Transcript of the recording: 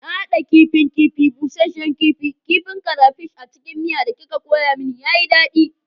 Na hada kifin kifi, busasshen kifi, kifin crayfish a cikin miya da kika koya mani, ya yi daɗi